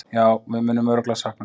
Jú, við munum örugglega sakna hans.